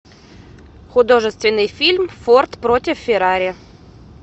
художественный фильм форд против феррари